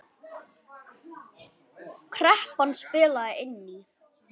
Kreppan spilaði inn í.